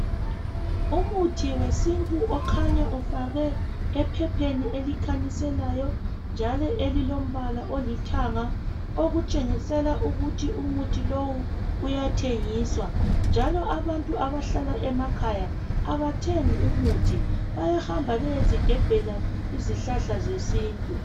Umuthi wesintu okhanya ufakwe ephepheni elikhanyiselayo njalo elilombala olithanga okutshengisela okutshengisela ukuthi umuthi lowu uyathengiswa njalo abantu abahlala emakhaya abathengi umuthi, bayahamba beyezigebhela izihlahla zesintu.